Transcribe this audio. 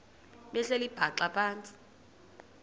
behleli bhaxa phantsi